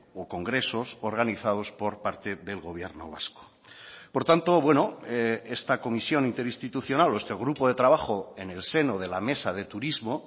o congresos organizados por parte del gobierno vasco por tanto bueno esta comisión interinstitucional o este grupo de trabajo en el seno de la mesa de turismo